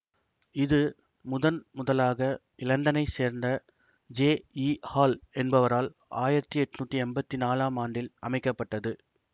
இது முதன்முதலாக இலண்டனைச் சேர்ந்த ஜே ஈ ஹால் என்பவரால் ஆயிரத்தி எட்ணூத்தி எம்பத்தி நாலாம் ஆண்டில் அமைக்க பட்டது